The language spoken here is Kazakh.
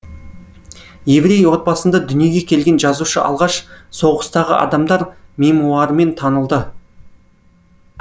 еврей отбасында дүниеге келген жазушы алғаш соғыстағы адамдар мемуарымен танылды